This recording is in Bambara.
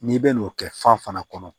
N'i bɛna n'o kɛ fan fana kɔnɔ